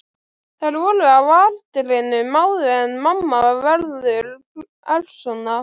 Þær voru á aldrinum áður en mamma verður persóna.